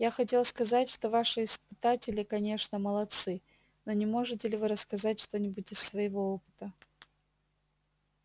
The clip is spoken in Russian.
я хотел сказать что ваши испытатели конечно молодцы но не можете ли вы рассказать что-нибудь из своего опыта